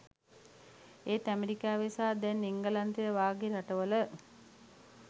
එත් ඇමරිකාවේ සහ දැන් එංගලන්තය වගේ රටවල